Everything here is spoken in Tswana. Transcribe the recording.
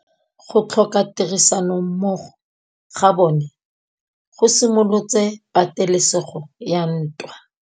Go tlhoka tirsanommogo ga bone go simolotse patêlêsêgô ya ntwa.